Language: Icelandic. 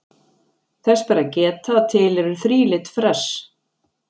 Þess ber að geta að til eru þrílit fress.